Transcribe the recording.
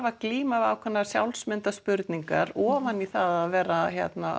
að glíma við ákveðnar ofan í það að vera að